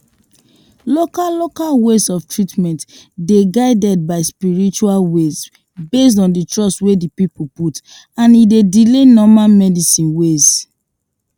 local local ways of treatment dey guided by spiritual ways based on the trust wey the person put and e dey delay normal medical ways